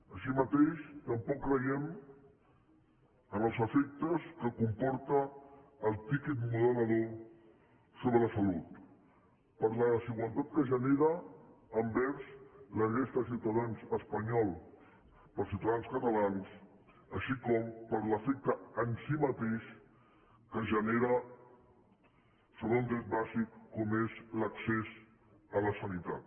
així mateix tampoc creiem en els efectes que comporta el tiquet moderador sobre la salut per la desigualtat que genera envers la resta de ciutadans espanyols per als ciutadans catalans així com per l’efecte en si mateix que genera sobre un dret bàsic com és l’accés a la sanitat